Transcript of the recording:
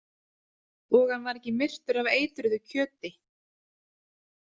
Og hann var ekki myrtur af eitruðu kjöti.